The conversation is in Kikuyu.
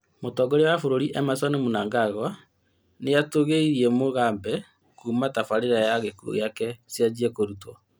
Mũtongoria wa bũrũri Emerson Mnangagwa nĩatũgĩirie Mugabe Kuma tabarĩra ya gĩkuo gĩake cianjie kurutwo